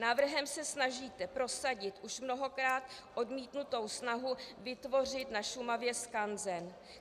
Návrhem se snažíte prosadit už mnohokrát odmítnutou snahu vytvořit na Šumavě skanzen.